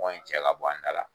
in cɛ ka bɔ an da la.